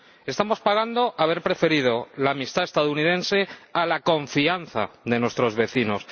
Estamos pagando haber preferido la amistad estadounidense a la confianza de nuestros vecinos